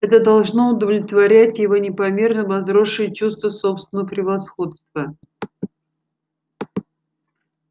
это должно удовлетворять его непомерно возросшее чувство собственного превосходства